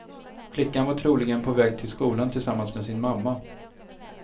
Flickan var troligen på väg till skolan tillsammans med sin mamma.